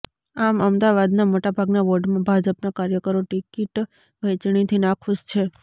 આમ અમદાવાદના મોટાભાગના વોર્ડમાં ભાજપનાં કાર્યકરો ટિકિટ વહેંચણીથી નાખૂશ છે